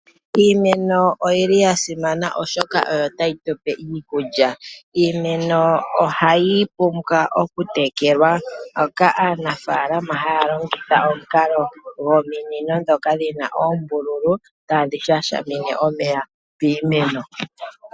Iimeno oyi li ya simana oshoka oyo tayi tupe iikulya. Iimeno ohayi pumbwa okutekelwa, mpoka aanafaalama haya longitha omukalo gominino ndhoka dhina oombululu tadhi shashamine omeya piimeno.